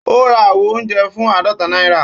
Ó ra àwo oúnjẹ fún àádọ́ta náírà